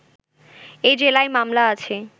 এ জেলায় মামলা আছে